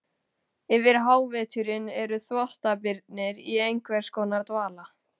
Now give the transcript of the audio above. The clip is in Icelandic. Yfir háveturinn eru þvottabirnir í einhvers konar dvala.